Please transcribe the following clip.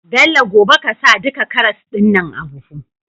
Bello gobe ƙasa duka karas din nan a buhu